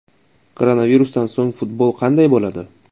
Koronavirusdan so‘ng futbol qanday bo‘ladi?.